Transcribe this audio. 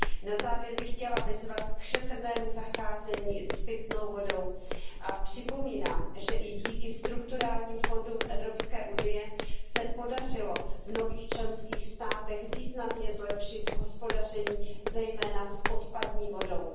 Na závěr bych chtěla vyzvat k šetrnému zacházení s pitnou vodou a připomínám, že i díky strukturálním fondům Evropské unie se podařilo v nových členských státech významně zlepšit hospodaření zejména s odpadní vodou.